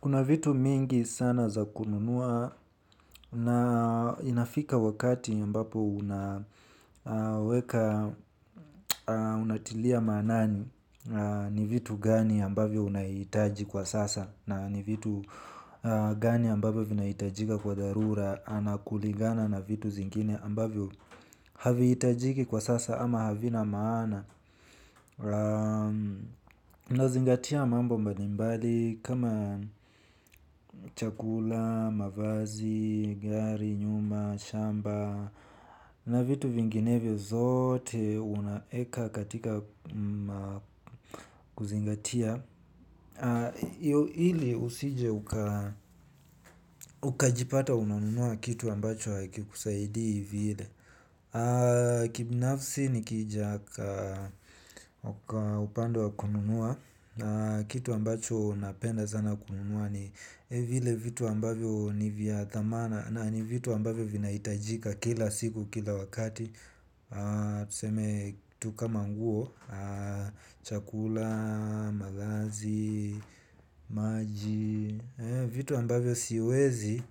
Kuna vitu mingi sana za kununua na inafika wakati ambapo unaweka unatilia maanani ni vitu gani ambavyo unahitaji kwa sasa na ni vitu gani ambavyo vinahitajika kwa dharura kulingana na vitu zingine ambavyo haviitajiki kwa sasa ama havina maana. Nazingatia mambo mbali mbali kama chakula, mavazi, gari, nyumba, shamba. Na vitu vinginevyo zote unaweka katika kuzingatia. Ili usije ukajipata unanunua kitu ambacho hakikusaidii vile. Kibinafsi nikija kwa upande wa kununua kitu ambacho napenda sana kununua ni vile vitu ambavyo ni vya dhamana. Na ni vitu ambavyo vinahitajika kila siku kila wakati. Tuseme tu kama nguo chakula mavazi maji vitu ambavyo siwezi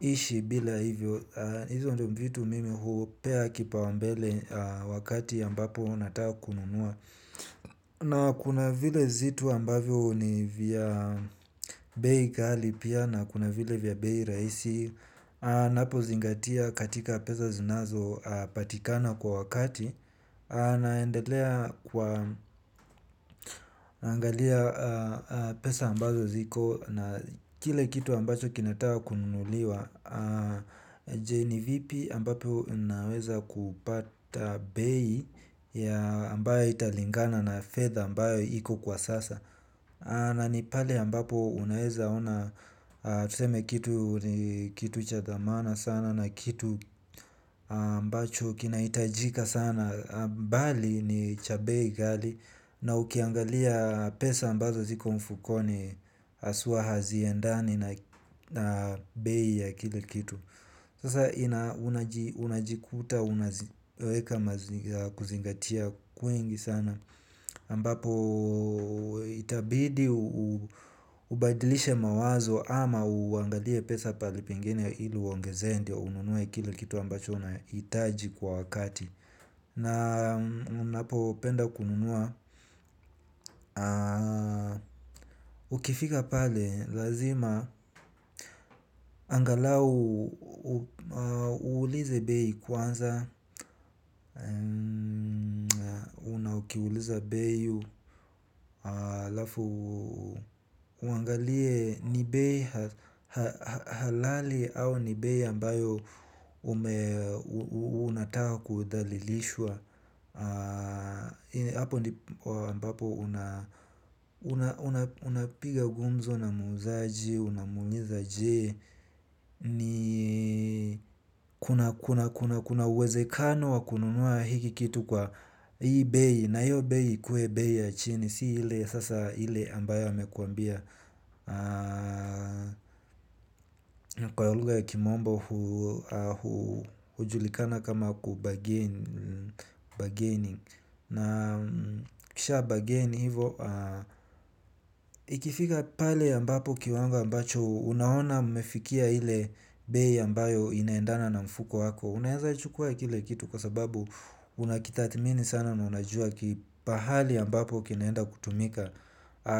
ishi bila hivyo hizo ndiyo vitu mimi hupea kipaumbele wakati ambapo nataka kununua. Na kuna vile zitu ambavyo ni vya bei ghali pia na kuna vile vya bei rahisi. Ninapozingatia katika pesa zinazo patikana kwa wakati. Naendelea naangalia pesa ambazo ziko na kile kitu ambacho kinataka kununuliwa je ni vipi ambavyo ninaweza kupata bei ambayo italingana na fedha ambayo iko kwa sasa. Na ni pale ambapo unaweza ona tuseme kitu ni kitu cha dhamana sana na kitu ambacho kinahitajika sana. Mbali ni cha bei ghali na ukiangalia pesa ambazo ziko mfukoni haswa haziendani na bei ya kile kitu. Sasa unajikuta unaziweka kuzingatia kwingi sana ambapo itabidi ubadilishe mawazo ama uangalie pesa pahali pengine ili uongezee ndio ununue kile kitu ambacho unahitaji kwa wakati. Na unapo penda kununua. Ukifika pale lazima angalau uulize bei kwanza na ukiuliza bei alafu uangalie ni bei halali au ni bei ambayo unataka kudhalilishwa hapo ndipo ambapo unapiga gumzo na muuzaji. Unamuuliza je. Na kuna uwezekano wa kununua hiki kitu kwa hii bei na hiyo bei ikuwe bei ya chini. Si ile sasa ile ambayo amekuambia. Kwa luhga ya kimombor hujulikana kama kubargaii. Na ukisha bargain hivo ikifika pale ambapo kiwango ambacho unaona umefikia ile bei ambayo inaendana na mfuko wako unaweza kuchukua kile kitu kwa sababu unakitathimini sana na unajua pahali ambapo kinaenda kutumika.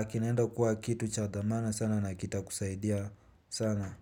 Kinaenda kuwa kitu cha dhamana sana. Na kitakusaidia sana.